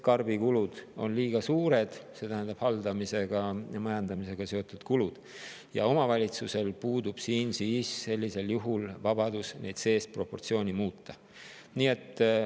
Karbikulud ehk siis haldamisega, majandamisega seotud kulud on liiga suured ja omavalitsusel puudub seda proportsiooni muuta.